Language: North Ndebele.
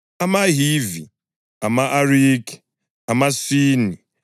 amaHivi, ama-Arikhi, amaSini,